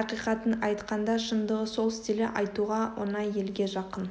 ақиқатын айтқанда шындығы сол стилі айтуға оңай елге жақын